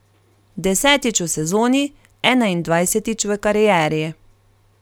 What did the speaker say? Desetič v sezoni, enaindvajsetič v karieri.